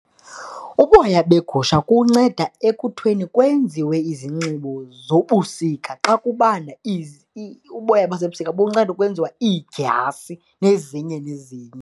Uboya begusha kunceda ekutheni kwenziwe izinxibo zobusika, xa kubanda uboya bazo ebusika bunceda ukwenziwa iidyasi nezinye nezinye.